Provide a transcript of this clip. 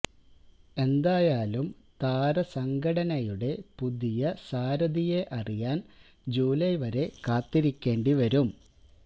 എന്തായാലും താരസംഘടനയുടെ പുതിയ സാരഥിയെ അറിയാന് ജൂലൈ വരെ കാത്തിരിക്കേണ്ടി വരും